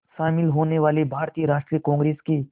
शामिल होने वाले भारतीय राष्ट्रीय कांग्रेस के